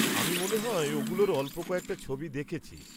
আমি মনে হয় ওগুলোর অল্প কয়েকটা ছবি দেখেছি।